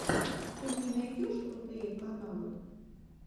ты мне найдешь крутые каналы